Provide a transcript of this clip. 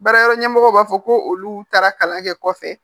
Baara yɔrɔ ɲɛmɔgɔw b'a fɔ ko olu taara kalan kɛ kɔfɛ